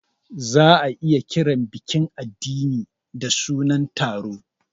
Za a iya kiran bikin addini da sunan taro.